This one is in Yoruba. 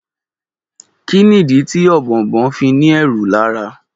Kí nìdí tí Ọ̀bọ̀ọ̀nbọọ̀n fí ni ẹ́rù lára.